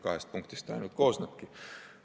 Kahest lõikest see ainult koosnebki.